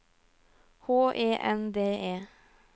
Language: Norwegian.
H E N D E